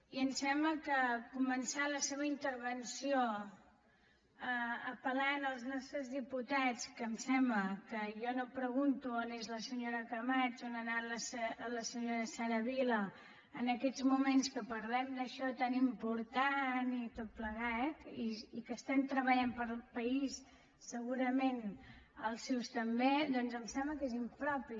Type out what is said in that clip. i em sembla que començar la seva intervenció apel·lant als nostres diputats que em sembla que jo no pregunto on és la senyora camats on ha anat la senyora sara vilà en aquests moments en què parlem d’això tan important i tot plegat i que estem treballant pel país segurament els seus també doncs em sembla que és impropi